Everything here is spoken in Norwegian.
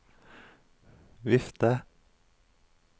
vifte